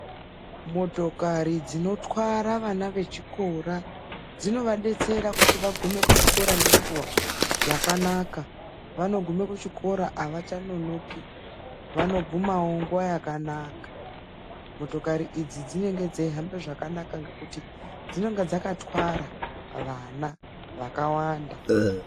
Motokari dzinotwara vana vechikora dzinodetsera kuti vana vagume ngemukuwo wakanaka , vanogume kuchikora havachanonoki vanoguma ngenguva yakanaka ,dzinenge dzeyihamba zvakanaka ngekuti dzinenge dzakatwara vana vakawanda